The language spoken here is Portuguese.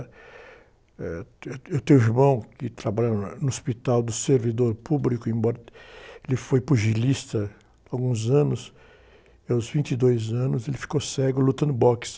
Eh, eu tenho um irmão que trabalha na, no hospital do servidor público, embora ele foi pugilista alguns anos, e aos vinte e dois anos, ele ficou cego lutando boxe.